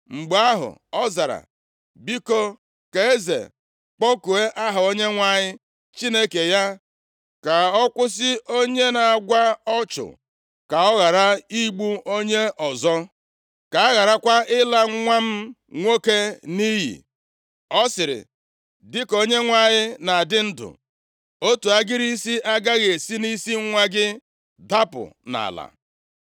Mgbe ahụ ọ zara, “Biko, ka eze kpọkuo aha Onyenwe anyị Chineke ya ka ọ kwụsị onye na-agwa ọchụ, ka ọ ghara igbu onye ọzọ, ka a gharakwa ịla nwa m nwoke nʼiyi.” Ọ sịrị, “Dịka Onyenwe anyị na-adị ndụ, + 14:11 \+xt 1Sa 14:45; 1Ez 1:52; Mat 10:30; Ọrụ 27:34\+xt* otu agịrị isi agaghị esi nʼisi nwa gị dapụ nʼala.”